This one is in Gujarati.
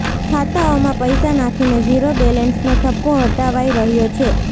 ખાતાંઓમાં પૈસા નાંખીને ઝીરો બેલેન્સનો થપ્પો હટાવાઈ રહ્યો છે